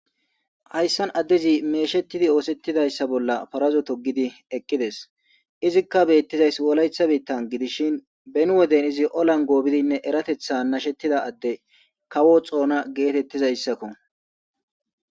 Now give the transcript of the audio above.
Hayisan adezi meshetidi osetidayisa bolla paraza togizi eqides izika betizayisi wolayita bitan gidishin beni wode olan gobizinne erateta ekida ade kawo xona getetizayisako